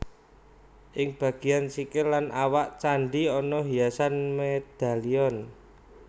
Ing bagéyan sikil lan awak candhi ana hiasan medalion